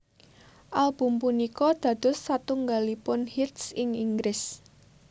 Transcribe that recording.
Album punika dados salah satunggalipun hits ing Inggris